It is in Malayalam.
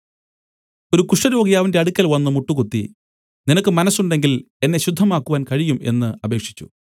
ഒരു കുഷ്ഠരോഗി അവന്റെ അടുക്കൽ വന്നു മുട്ടുകുത്തി നിനക്ക് മനസ്സുണ്ടെങ്കിൽ എന്നെ ശുദ്ധമാക്കുവാൻ കഴിയും എന്നു അപേക്ഷിച്ചു